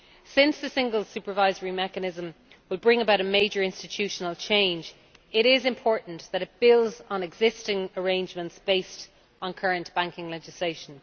Since the Single Supervisory Mechanism will bring about a major institutional change, it is important that it builds on existing arrangements based on current banking legislation.